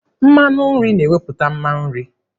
Mmanụ nri na-ewepụta mma nri.